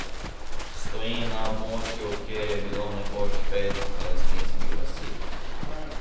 Stoji na območju, kjer je bilo nekoč pet palestinskih vasi.